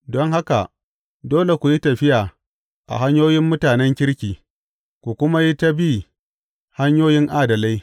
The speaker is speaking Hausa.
Don haka dole ku yi tafiya a hanyoyin mutanen kirki ku kuma yi ta bi hanyoyin adalai.